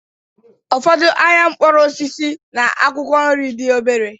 Ụfọdụ ahịa mkpụrụ osisi na akwụkwọ nri dị obere.